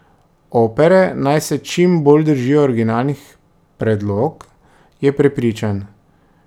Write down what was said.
Opere naj se čim bolj držijo originalnih predlog, je prepričan.